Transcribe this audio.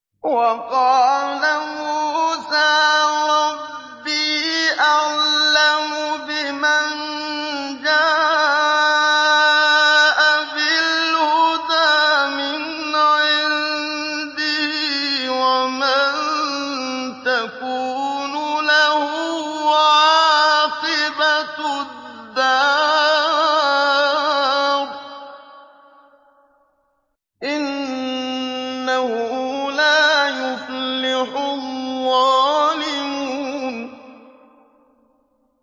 وَقَالَ مُوسَىٰ رَبِّي أَعْلَمُ بِمَن جَاءَ بِالْهُدَىٰ مِنْ عِندِهِ وَمَن تَكُونُ لَهُ عَاقِبَةُ الدَّارِ ۖ إِنَّهُ لَا يُفْلِحُ الظَّالِمُونَ